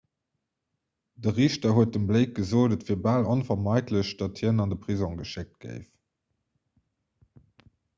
de riichter huet dem blake gesot et wier bal onvermeidlech datt hien an de prisong geschéckt géif